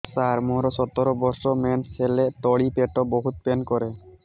ସାର ମୋର ସତର ବର୍ଷ ମେନ୍ସେସ ହେଲେ ତଳି ପେଟ ବହୁତ ପେନ୍ କରେ